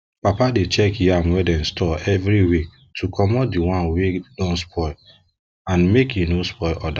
papa dey check yam wey dem store every week to commot the one wey don spoil and make e no spoil others